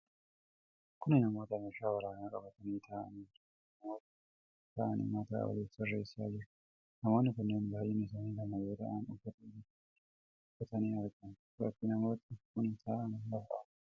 Kun namoota meeshaa waraanaa qabatanii taa'anii jiraniidha. Namooti kunneen taa'anii mataa waliif sirreessaa jiru. Namoonni kunneen baay'inni isaanii lama yoo ta'an, uffata bifa adii uffatanii argamu. Bakki namooti kun taa'an lafa awwaaraadha.